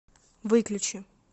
выключи